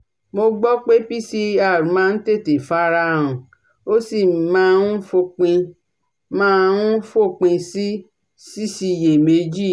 Mo gbọ́ pé PCR máa ń tètè fara han ó sì máa ń fòpin máa ń fòpin sí síṣiyèméjì